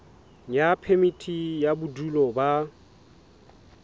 ya phemiti ya bodulo ba